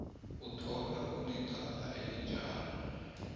otholwa anecala elinjalo